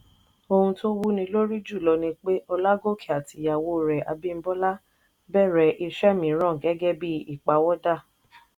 ohun tó wúni lórí jùlọ ni pé ọlágòkè àti ìyàwó rẹ̀ abímbọ́lá bẹ̀rẹ̀ iṣẹ́ mìíràn gẹ́gẹ́ bí ìpawọ́dà.